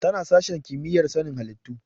Tana sashen kimiyyar sanin halittu.